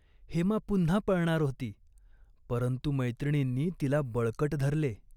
हेमा पुन्हा पळणार होती, परंतु मैत्रिणींनी तिला बळकट धरले.